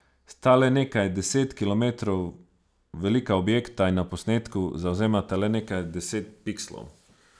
Sta le nekaj deset kilometrov velika objekta in na posnetku zavzemata le nekaj deset pikslov.